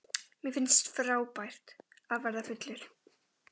Mér fannst frábært að verða fullur.